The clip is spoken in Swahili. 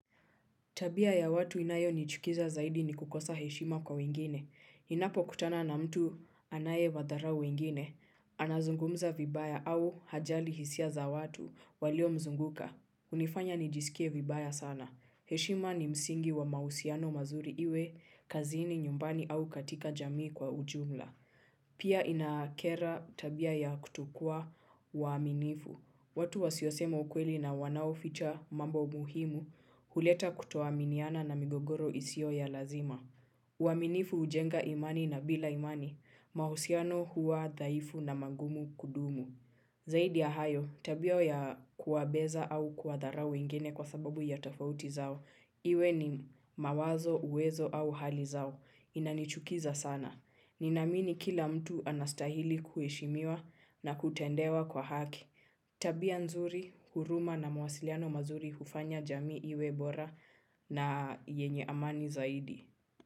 Tabia ya watu inayonichukiza zaidi ni kukosa heshima kwa wengine ninapo kutana na mtu anaye wadharau wengine. Anazungumza vibaya au hajali hisia za watu walio mzunguka. Hunifanya nijisikie vibaya sana. Heshima ni msingi wa mahusiano mzuri iwe kazini, nyumbani au katika jamii kwa ujumla pia inakera tabia ya kutokua uwaminifu. Watu wasiyosema ukweli na wanao ficha mambo muhimu, huleta kutoaminiana na migogoro isiyo ya lazima. Uaminifu hujenga imani na bila imani, mahusiano huwa dhaifu na mangumu kudumu. Zaidi ya hayo, tabia ya kuwabeza au kuwadharau wengeni kwa sababu ya tofauti zao. Iwe ni mawazo, uwezo au hali zao. Inanichukiza sana. Ninamini kila mtu anastahili kuheshimiwa na kutendewa kwa haki. Tabia nzuri, huruma na mwasiliano mazuri hufanya jamii iwe bora na yenye amani zaidi.